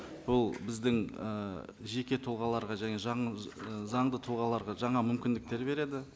бұл біздің ы жеке тұлғаларға және заңды тұлғаларға жаңа мүмкіндіктер береді